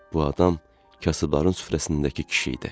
Bu adam kasıbların süfrəsindəki kişi idi.